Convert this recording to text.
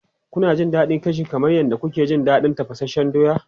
Kuna jin daɗin gashi kamar yadda kuke jin daɗin tafasasshen doya?